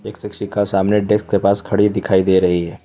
एक शिक्षिका सामने डेस्क के पास खड़ी दिखाई दे रही है।